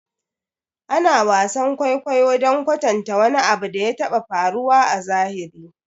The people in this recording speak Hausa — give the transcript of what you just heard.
Ana wasan kwaikwayo don kwatanta wani abu da ya taɓa faruwa a zahiri